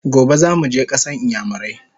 Gobe zamuje kasan iyamurai!